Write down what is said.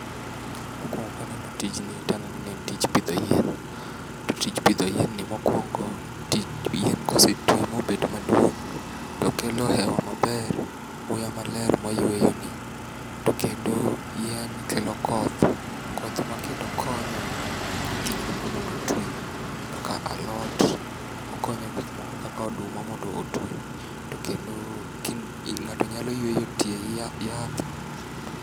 Mokuono ka aneno tij ni to anen o ni en tij pidho yien. To tij pidho yien ni mokuongo, yien kosetwi mobet maduong' to kelo hewa maber, muya maler ma wayueyoni. To yien kelo koh, koth makendo konyo gik moko mondo otwi kaka alot, okonyo gik moko kaka oduma mondo otwi to kendo ng'ato nyalo yueyo etie yath.